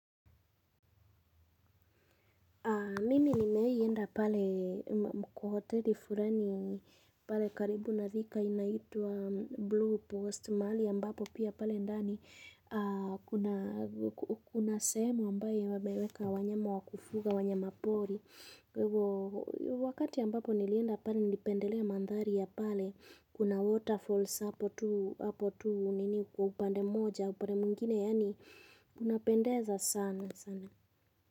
Mimi nimewahi enda pale kwa hoteli fulani pale karibu na Thika inaitwa blue post mahali pia ambapo pia pale ndani kuna kuna semu ambayo wameweka wanyama wa kufuga wanyama pori. Wakati ambapo nilienda pale nilipendelea mandhari ya pale kuna waterfalls hapo tu nini kwa upande moja upande mwingine yaani unapendeza sana sana.